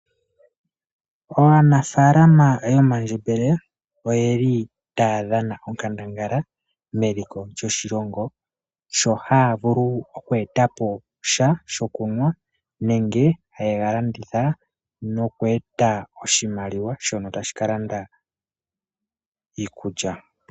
Aanafalama yomandjembele oyeli taya dhana onkandangala meliko lyoshilongo sho haya vulu oku etapo sha shokunwa nenge hayega landitha noku eta oshimaliwa shono tashi kalanda iikulya.